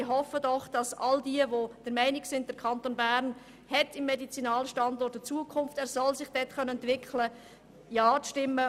Ich hoffe, dass all jene, die der Meinung sind, dass der Kanton Bern im Medizinalbereich eine Zukunft hat und sich hier entwickeln soll, Ja stimmen.